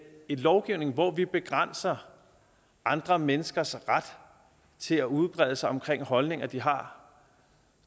en lovgivning hvor vi begrænser andre menneskers ret til at udbrede sig om holdninger de har